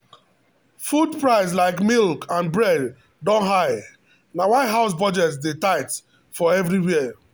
food price like milk and bread don high na why house budget dey tight for everywhere.